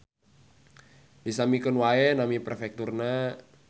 Disamikeun wae nami perfekturna